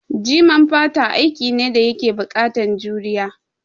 Jiman fata aiki ne da yake buƙatan juriya